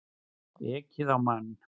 Ekið á mann